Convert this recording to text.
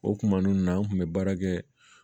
O kuma ninnu na an kun bɛ baara kɛ